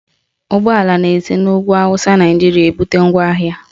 Ụgbọala na-esi n'ugwu Awụsa Naijiria ebute ngwaahịa